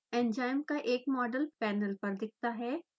enzyme का एक model panel पर दिखता है